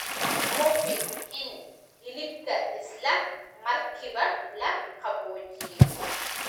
Hubi in hilibka isla markiiba la qaboojiyey.